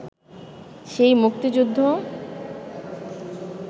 সেই মুক্তিযুদ্ধ